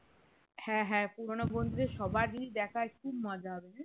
হ্যাঁ হ্যাঁ পুরোনো বন্ধুদের সবারই দেখার খুব মজা হবে